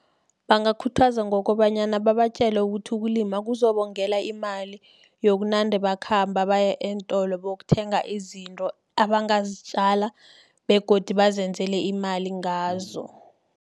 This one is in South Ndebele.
Bangakhuthaza ngokobanyana babatjele ukuthi, ukulima kuzobongela imali, yokunande bakhamba baye eentolo bokuthenga izinto, abangazitjala begodu bazenzele imali ngazo.